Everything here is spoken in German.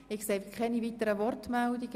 Es gibt keine weiteren Wortmeldungen.